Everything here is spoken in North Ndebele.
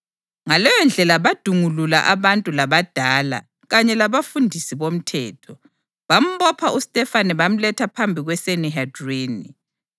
Ngaleyondlela badungulula abantu labadala kanye labafundisi bomthetho. Bambopha uStefane bamletha phambi kweSanihedrini.